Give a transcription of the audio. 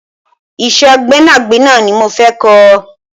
Ìṣe gbẹ́nàgbẹ́nà ni mo fẹ́ kọ́